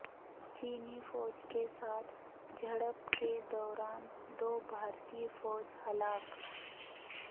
چینی فوج کے ساتھ جھڑپ کے دوران دو بھارتی فوجی ہلاک